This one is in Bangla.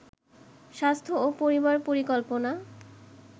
স্বাস্থ্য ও পরিবার পরিকল্পনা